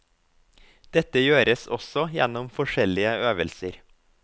Dette gjøres også gjennom forskjellige øvelser.